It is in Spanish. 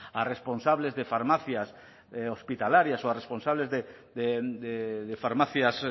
a responsables de farmacias hospitalarias o a responsables de farmacias